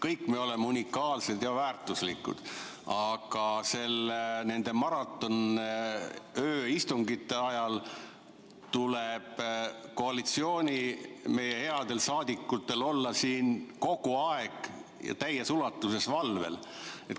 Kõik me oleme unikaalsed ja väärtuslikud, aga nende maratonööistungite ajal tuleb meie headel koalitsiooniliikmetel olla siin kogu aeg ja täies ulatuses valvel.